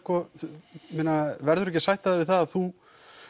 verður þú ekki að sætta þig við að þú